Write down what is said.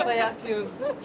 Hal-hazırda yaşayın.